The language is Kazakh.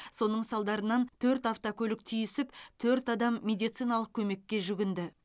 соның салдарынан төрт автокөлік түйісіп төрт адам медициналық көмекке жүгінді